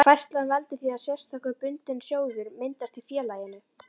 Færslan veldur því að sérstakur bundinn sjóður myndast í félaginu.